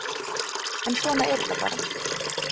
En svona er þetta bara